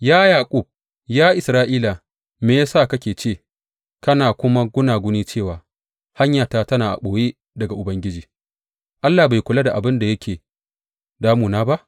Ya Yaƙub, ya Isra’ila, me ya sa kake ce kana kuma gunaguni cewa, Hanyata tana a ɓoye daga Ubangiji; Allah bai kula da abin da yake damuna ba?